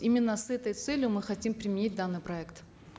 именно с этой целью мы хотим применить данный проект